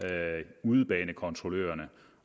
udebanekontrollørerne